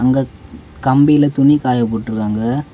அங்கக் கம்பியில துணி காய போட்டு இருக்காங்க.